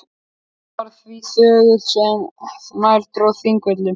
Hann varð því þögulli sem nær dró Þingvöllum.